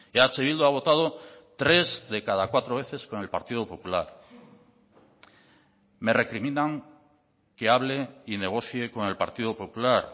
eh bildu ha votado tres de cada cuatro veces con el partido popular me recriminan que hable y negocie con el partido popular